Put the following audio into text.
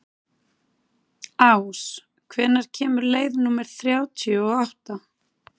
Ás, hvenær kemur leið númer þrjátíu og átta?